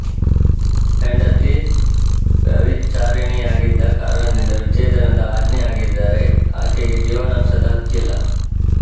ಹೆಂಡತಿ ವ್ಯಭಿಚಾರಿಣಿಯಾಗಿದ್ದ ಕಾರಣದಿಂದ ವಿಚ್ಛೇದನದ ಆಜ್ಞೆಯಾಗಿದ್ದರೆ ಆಕೆಗೆ ಜೀವನಾಂಶದ ಹಕ್ಕಿಲ್ಲ